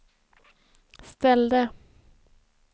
ställde